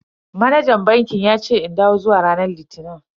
Manajan bankin yace in dawo zuwa ranar litini.